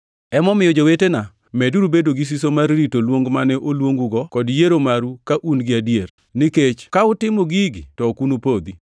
Emomiyo, jowetena, meduru bedo gi siso mar rito luong mane oluongugo kod yiero maru ka un gi adier. Nikech ka utimo gigi to ok unupodhi,